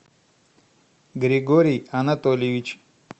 григорий анатольевич